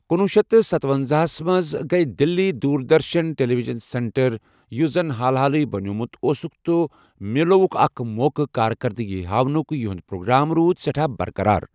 کُنوُہ شیتھ ستۄنزاہَس مٕنٛز، یِمہٕ گٕے دلی دوٗردرشن ٹیلیوجن سینٹر، یُس زن حال حالے بنوومُت اوسکھ، تہٕ مِلیاووُکھ اَکھ موقع کارکردگی ہاونُک یہُند پروگرام روٗد سؠٹھاہ برقرار۔